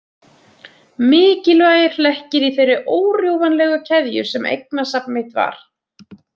Mikilvægir hlekkir í þeirri órjúfanlegu keðju sem eignasafn mitt var.